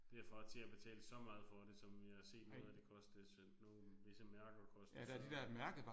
Derfra til at betale så meget for det som jeg har set noget af det koste det nogle visse mærker koster så